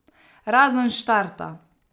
Razen štarta.